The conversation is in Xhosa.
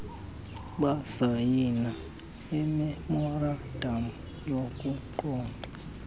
basayina imemorandam yokuqonda